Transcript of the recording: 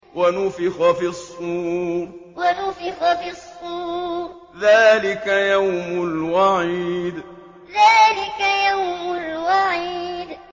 وَنُفِخَ فِي الصُّورِ ۚ ذَٰلِكَ يَوْمُ الْوَعِيدِ وَنُفِخَ فِي الصُّورِ ۚ ذَٰلِكَ يَوْمُ الْوَعِيدِ